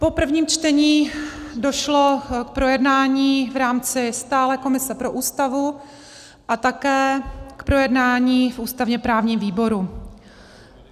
Po prvním čtení došlo k projednání v rámci stálé komise pro Ústavu a také k projednání v ústavně-právním výboru.